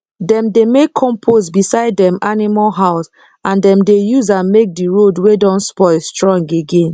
dem dey make compost beside dem animal house and dem dey use am make the road wey don spoil strong again